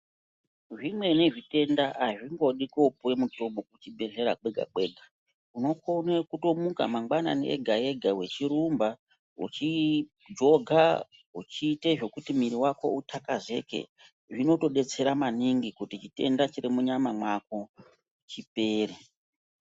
Zvimweni zvitenda azvingodi kopuwa mitombo kuzvibhedhlera kwega kwega unokona kutomuka mangwanani ega ega uchirumba uchijoger uchiita zvekuti muviri wako utakazeke zvinotodetsera maningi kuti chitenda chiri munyama mako chipere.